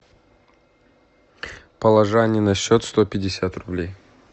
положи ане на счет сто пятьдесят рублей